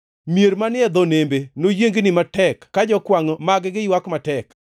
Mier manie dho nembe noyiengni matek, ka jokwangʼ mag-gi ywak matek.